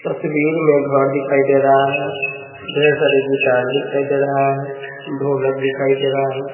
तस्वीर में घर दिखाई दे रहा है ढेर सारे गिटार दिखाई दे रहा है ढोलक दिखाई दे रहा है।